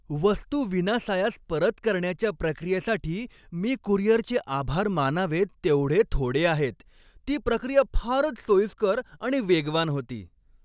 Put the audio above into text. वस्तू विनासायास परत करण्याच्या प्रक्रियेसाठी मी कुरिअरचे आभार मानावेत तेवढे थोडे आहेत, ती प्रक्रिया फारच सोयीस्कर आणि वेगवान होती.